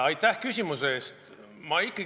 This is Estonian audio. Aitäh küsimuse eest!